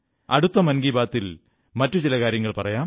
അടുത്ത മൻ കീ ബാത്തിൽ മറ്റു ചില കാര്യങ്ങൾ പറയാം